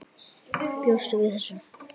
Bjóstu við þessu?